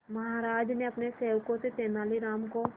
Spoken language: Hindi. महाराज ने अपने सेवकों से तेनालीराम को